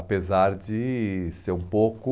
Apesar de ser um pouco...